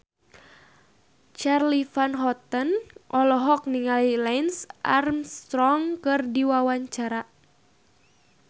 Charly Van Houten olohok ningali Lance Armstrong keur diwawancara